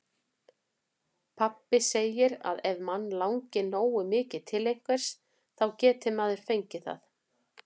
Pabbi segir að ef mann langi nógu mikið til einhvers, þá geti maður fengið það.